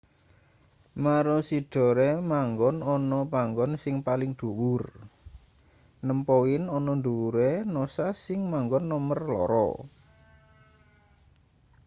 maroochydore manggon ana panggon sing paling dhuwur nem poin ana ndhuwure noosa sing manggon nomer loro